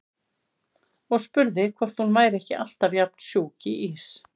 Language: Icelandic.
Og spurði hvort hún væri ekki alltaf jafn sjúk í ís.